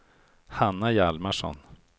Hanna Hjalmarsson